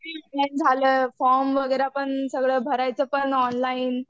झालं फॉर्म वगैरे पण सगळं भरायचं पण ऑनलाईन.